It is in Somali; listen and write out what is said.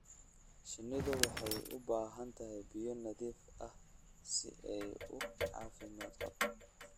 Shinnidu waxay u baahan tahay biyo nadiif ah si ay u caafimaad qabto.